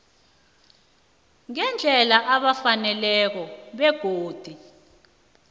ngendlela efaneleko begodu